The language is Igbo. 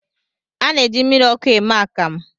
A na-eji mmiriọkụ eme akamụ